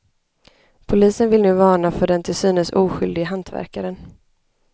Polisen vill nu varna för den till synes oskyldige hantverkaren.